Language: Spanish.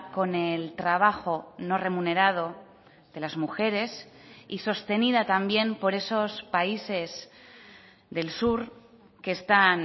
con el trabajo no remunerado de las mujeres y sostenida también por esos países del sur que están